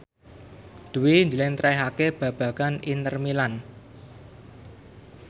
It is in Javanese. Dwi njlentrehake babagan Inter Milan